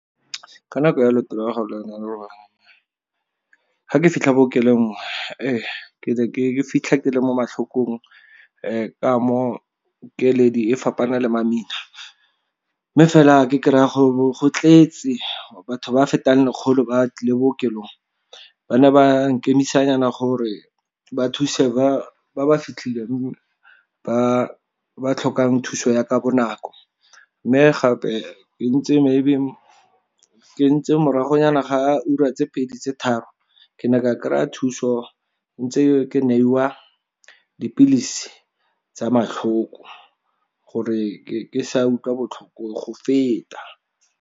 Ka nako ya loeto , ga ke fitlha bookelo ke ne ke fitlha ke le mo matlhokong. Ka mo keledi e fapana le mamina, mme fela ke kry-a go tletse batho ba fetang lekgolo ba le bookelong. Ba ne ba nkemisanyana gore ba thuse ba ba fitlhileng, ba ba tlhokang thuso ya ka bonako. Mme gape, ke ntse morago nyana ga ura tse pedi tse tharo, ke ne ka kry-a thuso, ntse ke neiwa dipilisi tsa matlhoko gore ke sa utlwa botlhoko go feta.